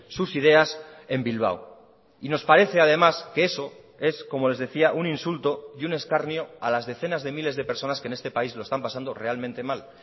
sus ideas en bilbao y nos parece además que eso es como les decía un insulto y un escarnio a las decenas de miles de personas que en este país lo están pasando realmente mal